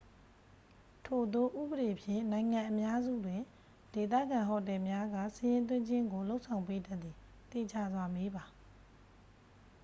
ထိုသို့ဥပဒေဖြင့် နိုင်ငံအများစုတွင် ဒေသခံဟိုတယ်များက စာရင်းသွင်းခြင်းကို လုပ်ဆောင်ပေးတတ်သည်သေချာစွာမေးပါ။